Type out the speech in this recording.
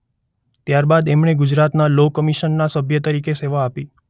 ત્યારબાદ એમણે ગુજરાત સરકારના લૉ કમિશનમાં સભ્ય તરીકે સેવા આપી.